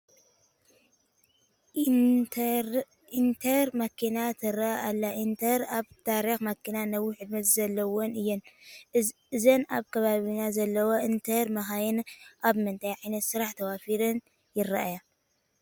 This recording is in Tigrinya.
ኢነትረ መኪና ትርአ ኣላ፡፡ ኢነትረ ኣብ ታሪክ መኪና ነዊሕ ዕድመ ዘለወን እየን፡፡ እዘን ኣብ ከባቢና ዘለዋ ኢነትረ መኻይን ኣብ ምንታይ ዓይነት ስራሕ ተዋፊረን ይረአያ?